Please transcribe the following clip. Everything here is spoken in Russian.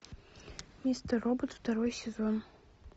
мистер робот второй сезон